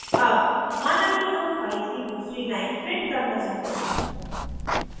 अब माना कि हम file की दूसरी line print करना चाहते हैं